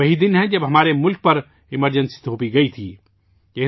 یہ وہی دن ہے جب ہمارے ملک پر ایمرجنسی تھوپی گئی تھی